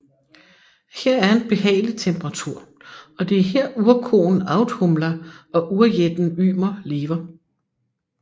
Her er en behagelig temperatur og det er her urkoen Audhumla og urjætten Ymer lever